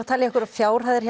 að telja einhverjar fjárhæðir